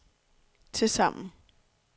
tilsammen